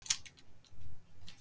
ávextir og ber